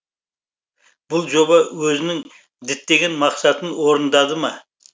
бұл жоба өзінің діттеген мақсатын орындады ма